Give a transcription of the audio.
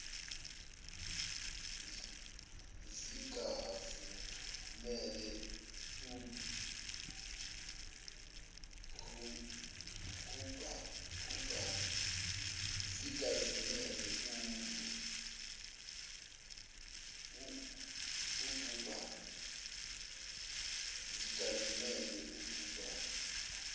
zingavumeli ub hubhane